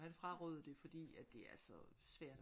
Han frarådede det fordi at det altså svært